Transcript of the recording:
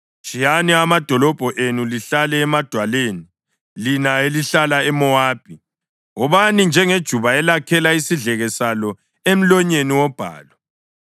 Tshiyani amadolobho enu lihlale emadwaleni, lina elihlala eMowabi. Wobani njengejuba elakhela isidleke salo emlonyeni wobhalu.